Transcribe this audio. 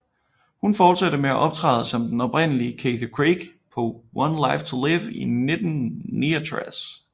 Hun fortsatte med at optræde som den oprindelige Cathy Craig på One Life to Live i 1969